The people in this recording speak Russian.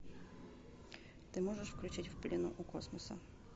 ты можешь включить в плену у космоса